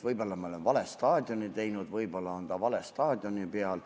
Võib-olla me oleme vale staadioni teinud, võib-olla on ta vale staadioni peal.